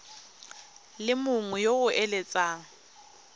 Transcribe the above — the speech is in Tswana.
le mongwe yo o eletsang